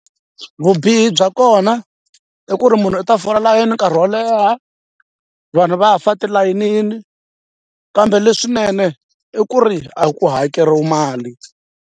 Vubihi bya kona i ku ri munhu u ta fola layeni nkarhi wo leha vanhu va fa tilayinini kambe leswinene i ku ri a ku hakeriwa mali.